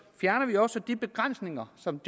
fjerner vi også de begrænsninger som